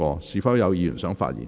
是否有議員想發言？